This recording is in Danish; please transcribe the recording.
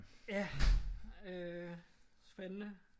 Ja øh spændende